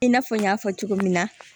I n'a fɔ n y'a fɔ cogo min na